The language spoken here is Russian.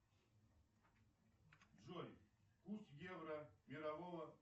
джой курс евро мирового